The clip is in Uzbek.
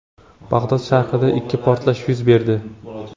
Bag‘dod sharqida ikki portlash yuz berdi.